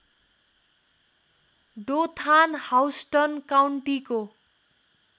Dothan Houston काउन्टीको